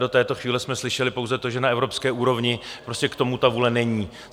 Do této chvíle jsme slyšeli pouze to, že na evropské úrovni prostě k tomu ta vůle není.